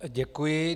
Děkuji.